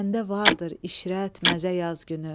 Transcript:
Səndə vardır işrət, məzə yaz günü.